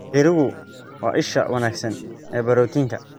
Digirigu waa isha wanaagsan ee borotiinka.